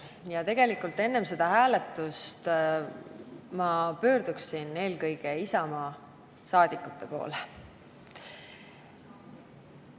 Ja tegelikult enne seda hääletust ma pöörduksin eelkõige Isamaa rahvasaadikute poole.